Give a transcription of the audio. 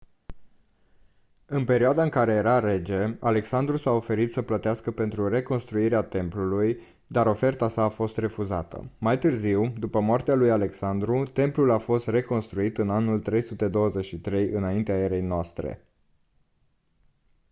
în perioada în care era rege alexandru s-a oferit să plătească pentru reconstruirea templului dar oferta sa a fost refuzată mai târziu după moartea lui alexandru templul a fost reconstruit în anul 323 î.e.n